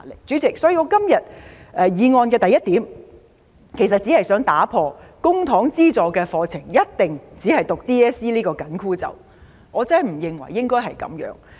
主席，我原議案的第一點，只是想打破公帑資助的課程一定只讀 DSE 這個"緊箍咒"，我真的不認為應該這樣。